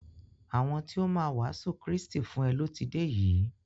Àwọn ti o máa wàásù Krístì fún e lọ ti dé yìí.